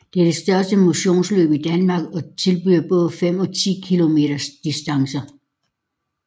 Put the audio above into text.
Det er det største motionsløb i Danmark og tilbyder både 5 og 10 km distancer